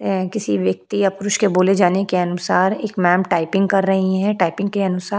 अ किसी व्यक्ति या पुरुष के बोले जाने के अनुसार एक मॅम टाइपिंग कर रही है टाइपिंग के अनुसार --